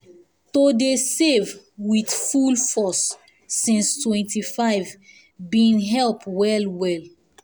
to dey save with full force since 25 been help well well